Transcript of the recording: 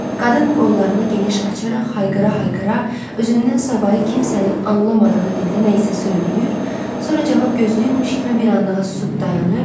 Qadın qollarını geniş açaraq hayqıra-hayqıra özündən savayı kimsənin anlamadığı dildə nə isə söyləyir, sonra cavab gözləyirmiş kimi bir anlığa susub dayanır.